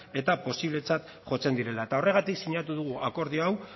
eta posibletzat jotzen direla eta horregatik sinatu dugu akordio hau